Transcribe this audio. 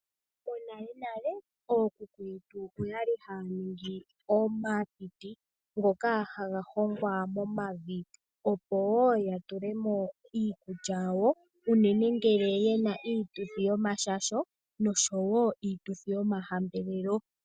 Monalenale ookuku yetu oyali haaningi omatiti ngoka haga hongwa momavi opo woo yatule mo iikulya yawo unene ngele yena iituthi yomashasho noshowo iituthi yomahambelelo.